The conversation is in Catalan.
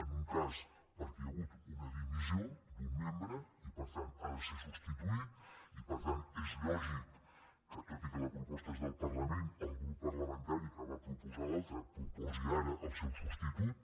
en un cas perquè hi ha hagut una dimissió d’un membre i per tant ha de ser substituït i per tant és lògic que tot i que la proposta és del parlament el grup parlamentari que va proposar l’altre proposi ara el seu substitut